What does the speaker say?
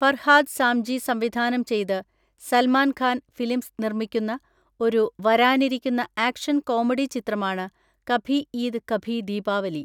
ഫർഹാദ് സാംജി സംവിധാനം ചെയ്ത് സൽമാൻ ഖാൻ ഫിലിംസ് നിർമ്മിക്കുന്ന ഒരു വരാനിരിക്കുന്ന ആക്ഷൻ കോമഡി ചിത്രമാണ് കഭി ഈദ് കഭി ദീപാവലി.